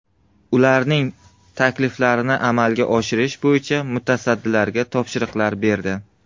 Ularning takliflarini amalga oshirish bo‘yicha mutasaddilarga topshiriqlar berdi.